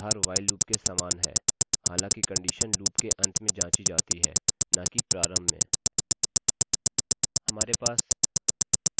इसका आधार while loop के समान है हालाँकि कंडीशन लूपloop के अंत में जाँची जाती है न कि प्रारंभ में